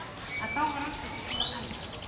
En þá var ekki allt búið enn.